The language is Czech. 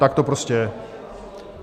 Tak to prostě je.